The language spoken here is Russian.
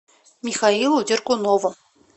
михаилу дергунову